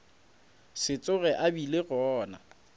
se tsoge a bile gona